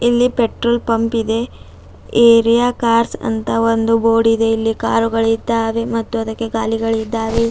ಇಲ್ಲಿ ಪೆಟ್ರೋಲ್ ಪಂಪಿದೆ area cars ಅಂತ ಒಂದು ಬೋರ್ಡ್ ಇದೆ ಇಲ್ಲಿ ಕಾರುಗಳಿದ್ದಾವೆ ಮತ್ತು ಅದಕ್ಕೆ ಗಾಲಿಗಳಿದ್ದಾವೆ.